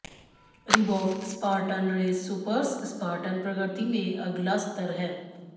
Reebok Spartan race supers Spartan प्रगति में अगला स्तर हैं